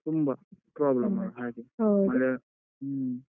ತುಂಬಾ problem ಹಾಗೆ ಹ್ಮ.